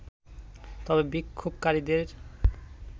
তবে বিক্ষোভকারীদের